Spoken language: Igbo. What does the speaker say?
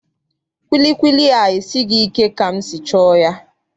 Kwilikwili a esighị ike ka m si chọọ ya.